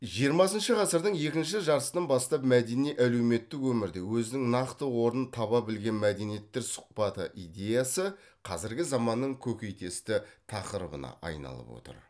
жиырмасыншы ғасырдың екінші жартысынан бастап мәдени әлеуметтік өмірде өзінің нақты орнын таба білген мәдениеттер сұхбаты идеясы қазіргі заманның көкейтесті тақырыбына айналып отыр